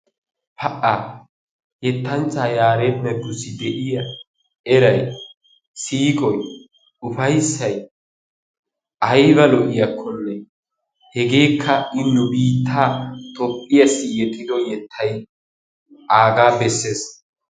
Pa"a! Yettanchchaa Yaareda Deggussi de'iya eray, siiqoy, ufayssay ayba lo'iyakkonne hegeekka I nu biittaa Toophphiyassi yexxido yettay aagaa bessees.